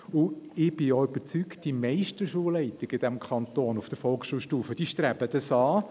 Ich bin auch überzeugt, dass die meisten Schulleitungen auf Volksschulstufe in diesem Kanton dies anstreben.